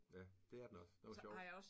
Ja. Det er den også. Den var sjov